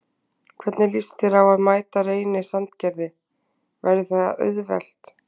Hvernig lýst þér á að mæta Reyni Sandgerði, verður það auðvelt?